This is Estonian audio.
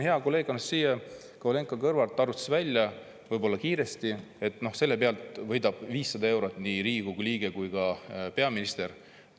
Hea kolleeg Anastassia Kovalenko-Kõlvart arvutas välja, võib-olla kiiresti, et selle pealt võidab 500 eurot nii Riigikogu liige kui ka peaminister.